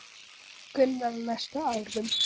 Gunnar: Á næstu árum?